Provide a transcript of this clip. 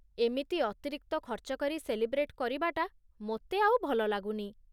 ଏମିତି ଅତିରିକ୍ତ ଖର୍ଚ୍ଚ କରି ସେଲିବ୍ରେଟ କରିବାଟା ମୋତେ ଆଉ ଭଲ ଲାଗୁନି।